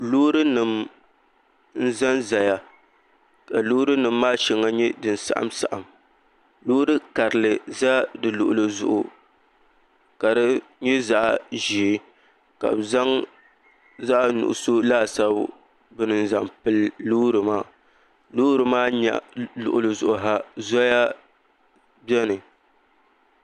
Loori nim n ʒɛnʒɛya ka Loori nim maa shɛŋa nyɛ din saɣam saɣam loori karili ʒɛ di luɣuli zuɣu ka di nyɛ zaɣ ʒiɛ ka bi zaŋ zaɣ nuɣso laasabu bini n zaŋ pili loori maa loori maa luɣuli zuɣu ha zoya biɛni